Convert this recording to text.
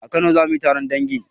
A kano zamuyi taron dangi